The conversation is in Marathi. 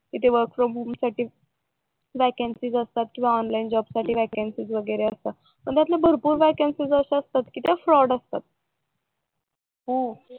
तिथे वर्क फ्रॉम होम साठी व्याकयांसी असतात किंवा ऑनलाईन जॉब साठी व्हेकेन्सी असतात पण त्यातल्या भरपूर व्याकयांसी असतात त्या फ्रॉड असतात